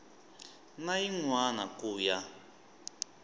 na yin wana ku ya